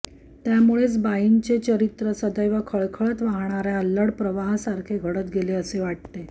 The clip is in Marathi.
त्यामुळेच बाईंचे चरित्र सदैव खळखळत वाहणाऱ्या अल्लड प्रवाहासारखे घडत गेले असे वाटते